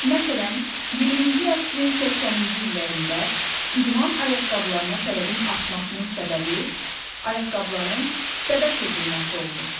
Məsələn, 20-ci əsrin 80-ci illərində idman ayaqqabılarına tələbin artmasının səbəbi ayaqqabıların dəbə çevrilməsi olmuşdu.